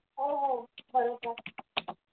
हो हो बरोबर